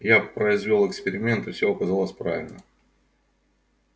я произвёл эксперимент и все оказалось правильно